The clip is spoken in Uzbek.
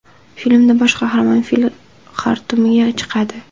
Filmda bosh qahramon fil xartumiga chiqadi.